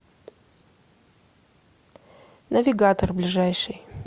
навигатор ближайший